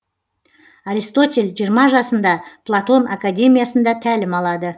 аристотель жиырма жасында платон академиясында тәлім алады